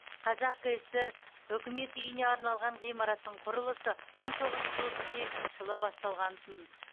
қазақ кср үкімет үйіне арналған ғимараттың құрылысы мың тоғыз жүз отыз сегізінші жылы басталғантын